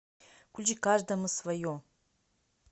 включи каждому свое